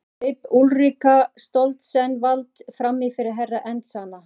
Hér greip Úlrika Stoltzenwald framí fyrir Herra Enzana.